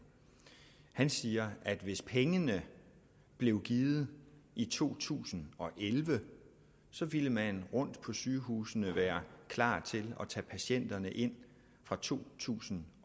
han siger at hvis pengene blev givet i to tusind og elleve ville man rundt på sygehusene være klar til at tage patienterne ind fra to tusind